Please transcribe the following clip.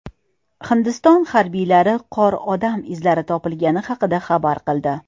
Hindiston harbiylari qor odam izlari topilgani haqida xabar qildi.